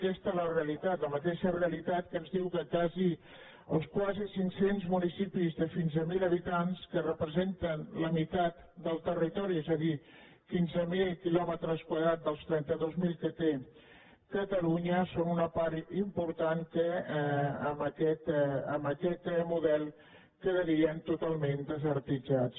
aquesta és la realitat la mateixa realitat que ens diu que els quasi cinc cents municipis de fins a mil habitants que representen la meitat del territori és a dir quinze mil quilòmetres quadrats dels trenta dos mil que té catalunya són una part important que amb aquest model quedarien totalment desertitzats